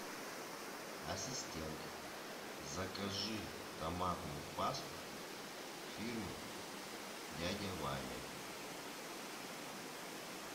ассистент закажи томатную пасту фирмы дядя ваня